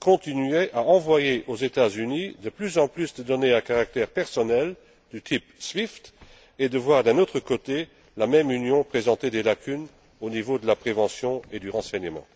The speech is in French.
continue à renvoyer aux États Unis de plus en plus de données à caractère personnel du type SWIFT et que, d'autre part, la même Union présente des lacunes au niveau de la prévention et du renseignement.